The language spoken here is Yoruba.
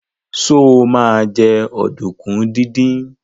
Sọ ma jẹ́ ọ̀dùnkún díndín?